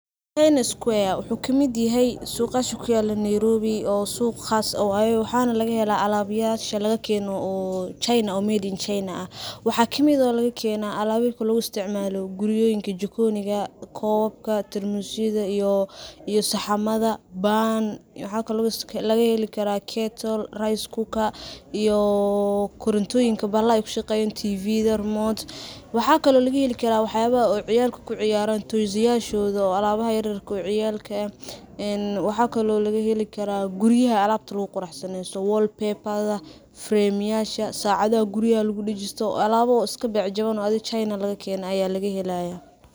china square wuxu kamid yaxay suqasha kuyalo Nairobi, oo siq qaas ah oo ayaga, waxana lagaxelaa alabyasha lagakeno china oo made in china ah, waxa kamid ah oo lagakena alaboyinka laguisticmalo guriyoyinka, jikoyinga, kobabka, tarmusyada iyo saxamada ban, waxa kalo lagaxelikara kettle, rice cooker iyoo korintoyinka baxalaxa kushageyan tv remote waxa kalo lagaxeli karaa waxyabaxa oo ciyalka kuciyaran, mesayadhoda oo alabaha ilmaha yaryarka ee ciyalka ah, een waxakalo lagaxelikaraa guriyaxa alabta laguquraxsanesto, wall paper, frame yasha sacadaxa guriyaxa lagudajisto, alabo iskabec jawan , oo adhi china lagakene aya lagahelaya.